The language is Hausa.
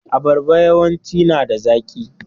Abarba yawanci nada zaki.